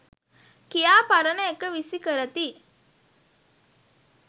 කියා පරණ එක විසි කරති.